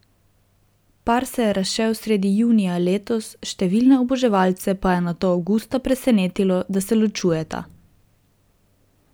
Par se je razšel sredi junija letos, številne oboževalce pa je nato avgusta presenetilo, da se ločujeta.